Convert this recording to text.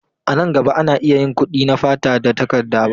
A nan gaba, ana iya yin kuɗi da fata ba takarda ba.